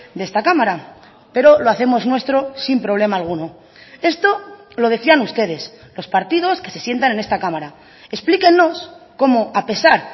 de esta cámara pero lo hacemos nuestro sin problema alguno esto lo decían ustedes los partidos que se sientan en esta cámara explíquennos cómo a pesar